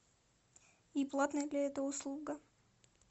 и платная ли эта услуга